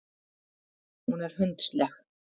Hún er hundsleg.